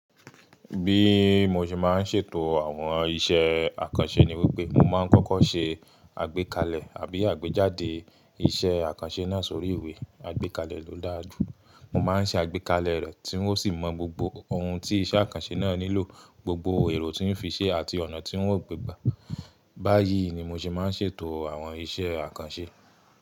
Bí mo ṣe máa ń ṣètò àwọn iṣẹ́ àkànṣe ni wípé mo máa ń kọ́kọ́ ṣe àgbékalẹ̀ àbí àgbéjáde iṣẹ́ àkànṣe náà sórí ìwé. Àgbékalẹ̀ ló dáa jù. Mo máa ń ṣe àgbékalẹ̀ rẹ̀ tí óun sì mọ gbogbo ohun tí iṣẹ́ àkànṣe náà nílò, gbogbo èrò tí ó fi ṣe àti ọ̀nà tí ó wù gbe gba. Báyìí ni mo ṣe máa ń ṣètò àwọn iṣẹ́ àkànṣe.